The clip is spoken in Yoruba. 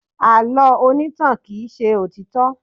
Àlọ́ onítàn kì í ṣe òtítọ́.